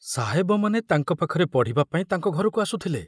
ସାହେବମାନେ ତାଙ୍କ ପାଖରେ ପଢ଼ିବା ପାଇଁ ତାଙ୍କ ଘରକୁ ଆସୁଥିଲେ।